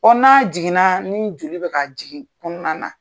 Ko n'a jiginna, ni joli bɛ ka jigin kɔnɔna na.